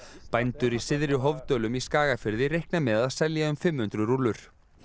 bændur í Syðri Hofdölum í Skagafirði reikna með að selja um fimm hundruð rúllur